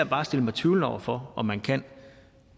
bare at stille mig tvivlende over for om man kan